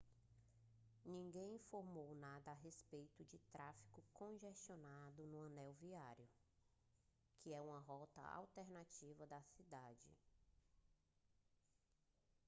ninguém informou nada a respeito de tráfego congestionado no anel viário que é uma rota alternativa da cidade